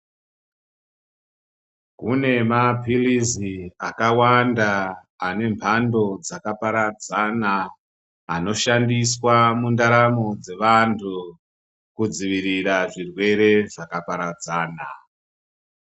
Kune mapilizi akawanda ane mbando dzakaparadzana anoshandiswa mundaramo dzevantu kudzivirira zvirwere zvakaparadzana.